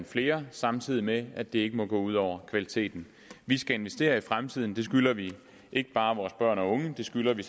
flere samtidig med at det ikke må gå ud over kvaliteten vi skal investere i fremtiden det skylder vi ikke bare vores børn og unge det skylder vi